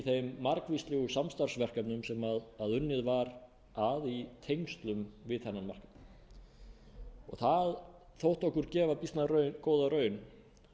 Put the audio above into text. þeim margvíslegu samstarfsverkefnum sem unnið var að í tengslum við þennan markað það þótti okkur gefa býsna góða raun